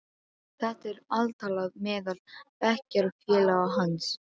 Þetta er altalað meðal bekkjarfélaga hans.